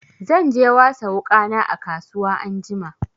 Zan je wasa wuƙana a kasuwa anjima.